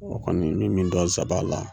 O kɔni me min dɔn zaba la,